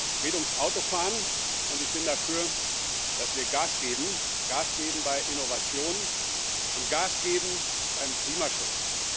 Es geht ums Autofahren, und ich bin dafür, dass wir Gas geben Gas geben bei Innovationen und Gas geben beim Klimaschutz.